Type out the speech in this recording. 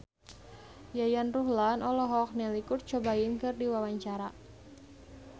Yayan Ruhlan olohok ningali Kurt Cobain keur diwawancara